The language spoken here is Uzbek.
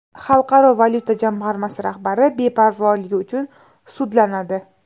Xalqaro valyuta jamg‘armasi rahbari beparvoligi uchun sudlanadi.